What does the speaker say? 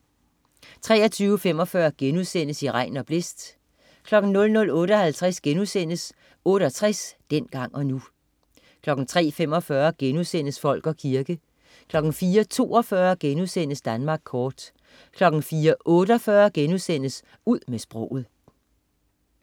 23.45 I regn og blæst* 00.58 68, dengang og nu* 03.45 Folk og kirke* 04.42 Danmark kort* 04.48 Ud med sproget*